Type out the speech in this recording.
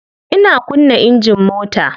Ina kunna engine mota.